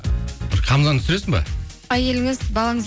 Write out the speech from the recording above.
хамзаны түсіресің бе әйеліңіз балаңыз